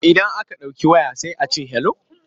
Idan aka ɗauki waya sai a ce 'hello'.